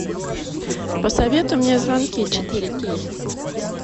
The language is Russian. посоветуй мне звонки четыре кей